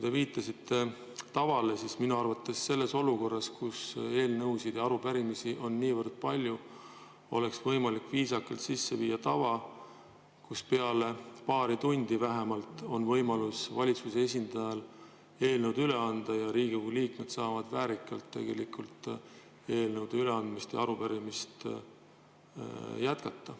Te viitasite tavale, aga minu arvates selles olukorras, kus eelnõusid ja arupärimisi on niivõrd palju, oleks võimalik viisakalt sisse viia tava, kus peale paari tundi vähemalt on võimalus valitsuse esindajal eelnõu üle anda ja Riigikogu liikmed saavad väärikalt oma eelnõude ja arupärimiste üleandmist jätkata.